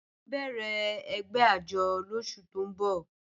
A n bẹ̀rẹ̀ ègbẹ̀ àjọ́ lọ́sù tó n bọ̀